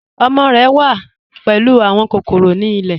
Ọmọ rẹ wà pẹ̀lú awọn kòkòrò ni ilẹ̀.